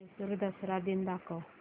म्हैसूर दसरा दिन दाखव